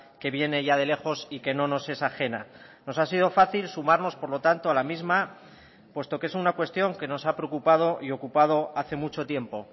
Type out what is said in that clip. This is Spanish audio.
que viene ya de lejos y que no nos es ajena nos ha sido fácil sumarnos por lo tanto a la misma puesto que es una cuestión que nos ha preocupado y ocupado hace mucho tiempo